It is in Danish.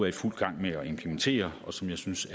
i fuld gang med at implementere og som jeg synes